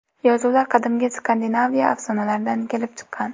Yozuvlar qadimgi Skandinaviya afsonalaridan kelib chiqqan.